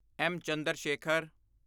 S. Chandrashekhar